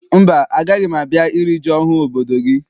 Mba, agaghị m a bịa iri ji ọhụụ obodo gị.